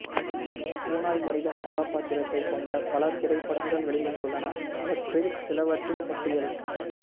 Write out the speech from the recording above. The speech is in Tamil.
ஓநாய் மனிதன் கதாபத்திரத்தை கொண்ட பல திரைப்படங்கள் வெளிவந்துள்ளன அவற்றில் சிலவற்றின் பட்டியல்